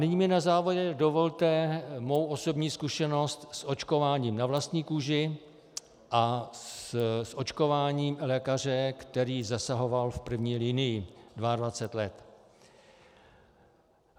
Nyní mi na závěr dovolte mou osobní zkušenost s očkováním na vlastní kůži a s očkováním lékaře, který zasahoval v první linii 22 let.